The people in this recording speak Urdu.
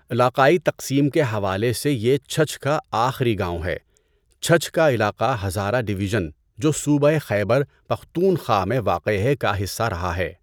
علاقائی تقسیم کے حوالے سے یہ چھچھ کا آخری گاؤں ہے۔ چھچھ کا علاقہ ہزارہ ڈویژن جو صوبہ خیبر پختونخوا میں واقع ہے کا حصہ رہا ہے۔